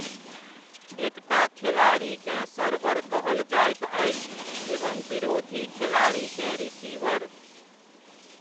एकटा खेलाड़ीकेँ सर्वर कहल जाइत अछि एवं विरोधी खेलाड़ीकेँ रिसीवर।